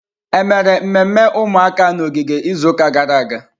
Ememe mmemme ụmụaka n'ogige izuụka gara aga?